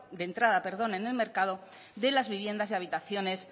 de entrada en el mercado de las viviendas y habitaciones